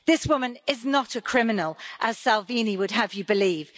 This woman is not a criminal, as Salvini would have you believe.